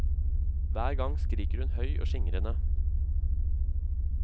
Hver gang skriker hun høy og skingrende.